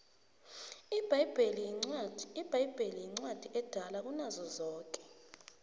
ibhayibheli incwadi edala kunazo zonke